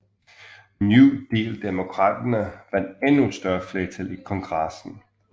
New Deal Demokraterne vandt endnu større flertal i Kongressen